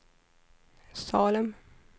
Salem